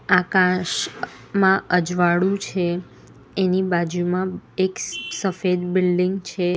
આકાશમાં અ અજવાળું છે એની બાજુમાં એક સફેદ બિલ્ડીંગ છે.